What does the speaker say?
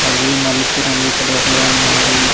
అవి నలుపు రంగు కలర్ లో ఉన్నవి.